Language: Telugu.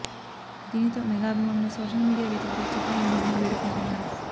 దీనితో మెగా అభిమానులు సోషల్ మీడియా వేదికగా చిత్ర యూనిట్ ని వేడుకుంటున్నారు